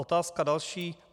Otázka další.